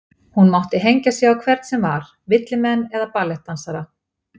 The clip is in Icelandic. Hún mátti hengja sig á hvern sem var, villimenn eða ballettdansara.